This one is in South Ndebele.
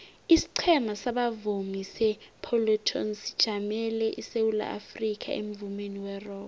isiqhema sabavumi separlatones sijamele isewula afrikha emvumeni werock